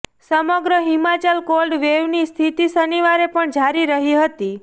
સમગ્ર હિમાચલમાં કોલ્ડ વેવની સ્થિતિ શનિવારે પણ જારી રહી હતી